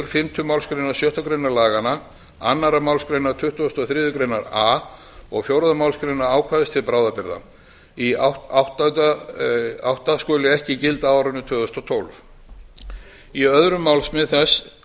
fimmtu málsgrein sjöttu grein laganna annarri málsgrein tuttugustu og þriðju grein a og fjórðu málsgrein ákvæðis til bráðabirgða í átta skuli ekki gilda á árinu tvö þúsund og tólf í